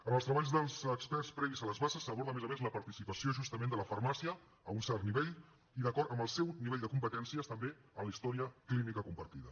en els treballs dels experts previs a les bases s’aborda a més a més la participació justament de la farmàcia a un cert nivell i d’acord amb el seu nivell de competències també a la història clínica compartida